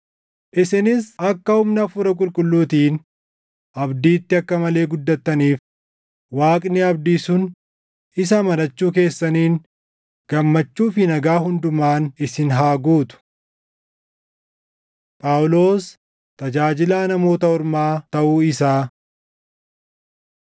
Isinis akka humna Hafuura Qulqulluutiin abdiitti akka malee guddattaniif, Waaqni abdii sun isa amanachuu keessaniin gammachuu fi nagaa hundumaan isin haa guutu. Phaawulos Tajaajilaa Namoota Ormaa Taʼuu Isaa